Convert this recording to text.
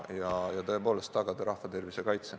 Eesmärk on tõepoolest tagada rahva tervise kaitse.